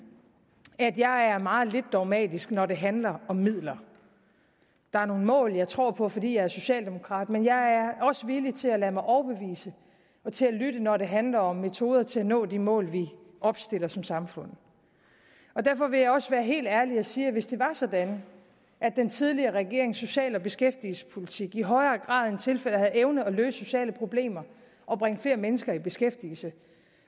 at jeg er meget lidt dogmatisk når det handler om midler der er nogle mål jeg tror på fordi jeg er socialdemokrat men jeg er også villig til at lade mig overbevise og til at lytte når det handler om metoder til at nå de mål vi opstiller som samfund derfor vil jeg også være helt ærlig og sige at hvis det var sådan at den tidligere regerings social og beskæftigelsespolitik i højere grad end tilfældet er havde evnet at løse sociale problemer og bringe flere mennesker i beskæftigelse